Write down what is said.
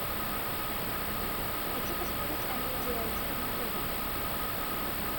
хочу посмотреть амедиа один на тв